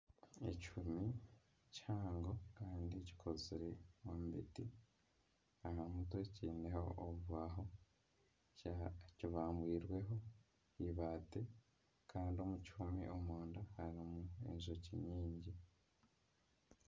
Ekihumi kihango kandi kikozire omu biti aha mutwe kiineho obubaaho kibambwire eibaati kandi omu kihumi omunda harimu enjoki nyingi